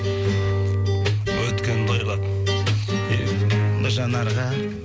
өткенді ойлап бір жанарға